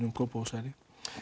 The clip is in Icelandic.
um Kópavogshæli